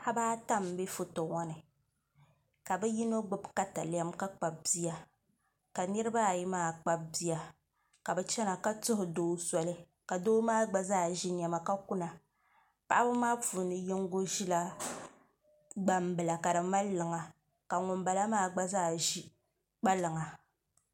Paɣaba ata n bɛ foto ŋɔ ni ka bi yino gbubi katalɛm ka kpabi bia ka niraba ayi maa kpabi bia ka bi chɛna ka tuhu doo soli ka doo maa gba zaa ʒi niɛma ka kuna paɣaba maa puuni yinga ʒila gbambila ka di mali liŋa ka ŋunbala maa gba zaa ʒi kpalaŋa